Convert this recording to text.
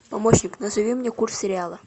помощник назови мне курс реала